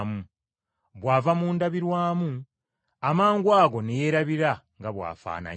bw’ava mu ndabirwamu, amangwago ne yeerabira nga bw’afaananye.